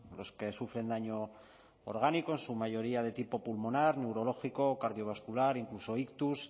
los que sufren daño orgánico en su mayoría de tipo pulmonar neurológico cardiovascular incluso ictus